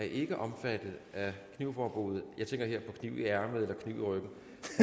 ikke er omfattet af knivforbuddet jeg tænker her på knive i ærmet og knive i ryggen